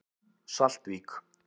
Saltvík